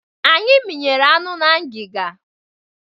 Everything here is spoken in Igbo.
Anyị minyere anụ na ngịga.